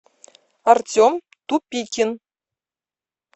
артем тупикин